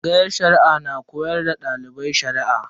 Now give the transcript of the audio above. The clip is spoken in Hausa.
Tsangayar Shari'a na koyar da dalibai Shari'a.